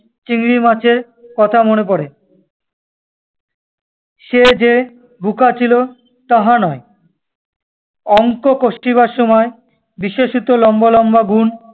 চিংড়িমাছের কথা মনে পড়ে। সে যে বুকা ছিল তাহা নয়। অঙ্ক কষিবার সময়, বিশেষত লম্বা-লম্বা গুণ-